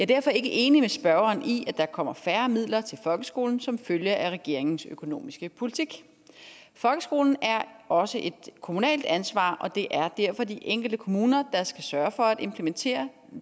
derfor ikke enig med spørgeren i at der kommer færre midler til folkeskolen som følge af regeringens økonomiske politik folkeskolen er også et kommunalt ansvar og det er derfor de enkelte kommuner der skal sørge for at implementere